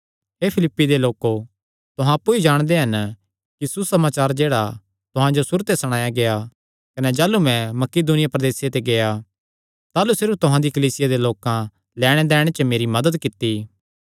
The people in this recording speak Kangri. हे फिलिप्पी दे लोको तुहां अप्पु भी जाणदे हन कि सुसमाचार जेह्ड़ा तुहां जो सुरू ते सणाया गेआ कने जाह़लू मैं मकिदुनिया प्रदेसे ते गेआ ताह़लू सिर्फ तुहां दिया कलीसिया दे लोकां लैणदैण च मेरी मदत कित्ती